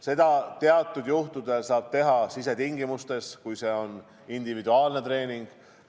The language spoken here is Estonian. Seda saab teatud juhtudel teha sisetingimustes, kui see on individuaalne treening.